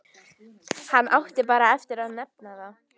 Hann átti bara eftir að nefna það.